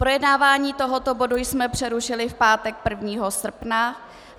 Projednávání tohoto bodu jsme přerušili v pátek 1. srpna.